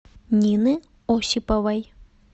нины осиповой